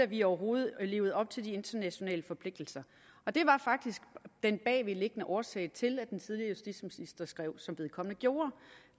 vi overhovedet levede op til de internationale forpligtelser og det var faktisk den bagvedliggende årsag til at den tidligere justitsminister skrev som vedkommende gjorde